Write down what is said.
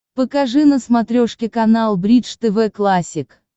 покажи на смотрешке канал бридж тв классик